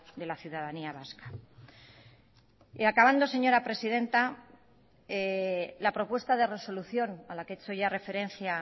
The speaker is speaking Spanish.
de la ciudadanía vasca y acabando señora presidenta la propuesta de resolución a la que he hecho ya referencia